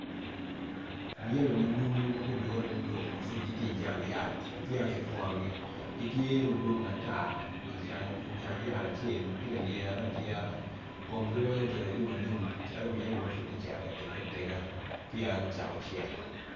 Muyeme manumu magudure niduk ijang yat mapud peya kupwonogi gitye madwong atar i jang yat acel matye ka lyete alyeta komgi weng obedo alum alum calo muyeme mapud tye kacito ka tegi atega ma peya gucako cek.